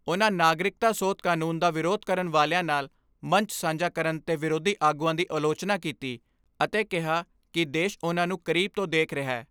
ਉਨ੍ਹਾਂ ਨਾਗਰਿਕਤਾ ਸੋਧ ਕਾਨੂੰਨ ਦਾ ਵਿਰੋਧ ਕਰਨ ਵਾਲਿਆਂ ਨਾਲ ਮੰਚ ਸਾਂਝਾ ਕਰਨ 'ਤੇ ਵਿਰੋਧੀ ਆਗੂਆਂ ਦੀ ਆਲੋਚਨਾ ਕੀਤੀ ਅਤੇ ਕਿਹਾ ਕਿ ਦੇਸ਼ ਉਨ੍ਹਾਂ ਨੂੰ ਕਰੀਬ ਤੋਂ ਦੇਖ ਰਿਹੈ।